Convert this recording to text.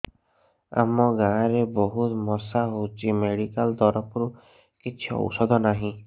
ଆମ ଗାଁ ରେ ବହୁତ ମଶା ହଉଚି ମେଡିକାଲ ତରଫରୁ କିଛି ଔଷଧ ନାହିଁ